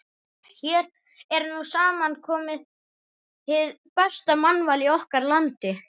Hér er nú samankomið hið besta mannval í okkar landi.